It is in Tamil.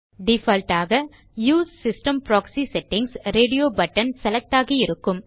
டிஃபால்ட் ஆக use system proxy settings radio button select ஆகியிருக்கும்